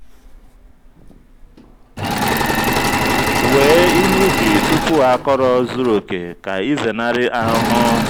wee ihe ubi tupu akọrọ zuru oke ka ịzenarị ahụhụ.